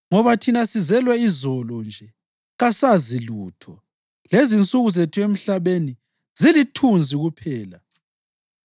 ngoba thina sizelwe izolo nje, kasazi lutho, lezinsuku zethu emhlabeni zilithunzi kuphela.